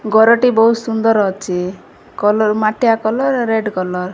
ଗରଟି ବୋହୁତ୍ ସୁନ୍ଦର ଅଚି କଲର୍ ମାଟିଆ କଲର୍ ରେଡ୍ କଲର୍ ।